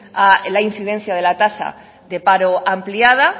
a la incidencia de la tasa de paro ampliada